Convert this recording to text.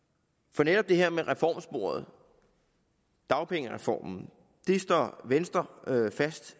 for netop det her med reformsporet dagpengereformen står venstre fast